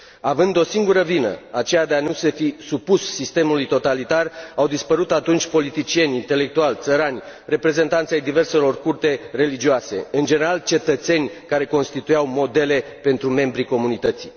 Având o singură vină, aceea de a nu se fi supus sistemului totalitar, au dispărut atunci politicieni, intelectuali, țărani, reprezentanți ai diverselor culte religioase, în general, cetățeni care constituiau modele pentru membrii comunității.